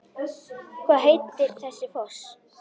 Hvað heitir þessi foss?